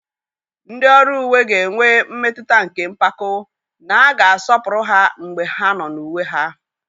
Ndị ọrụ uwe ga-enwe mmetụta nke mpako na a ga-asọpụrụ ha mgbe ha nọ n'uwe ha.